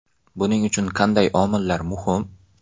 Buning uchun qanday omillar muhim?